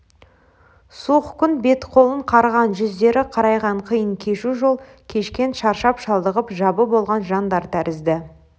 суық күн беті-қолын қарыған жүздері қарайған қиын кешу жол кешкен шаршап-шалдығып жабы болған жандар тәрізді